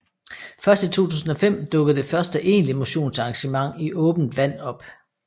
Først i 2005 dukkede det første egentlige motionsarrangement i åbent vand op